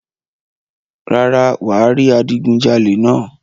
rárá, wà á rí adigunjalè náà.